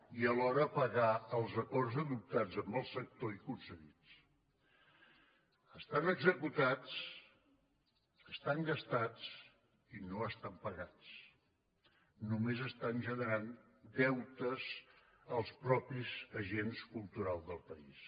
i alhora pagar els acords adoptats amb el sector i concedits estan executats estan gastats i no estan pagats només estan generant deutes als mateixos agents culturals del país